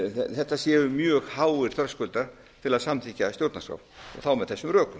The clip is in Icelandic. þetta séu mjög háir þröskuldar til að samþykkja að stjórnarskrá og þá með þessum rökum